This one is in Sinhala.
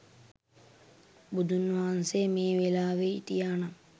බුදුන් වහන්සේ මේ වෙලාවෙ හිටියා නම්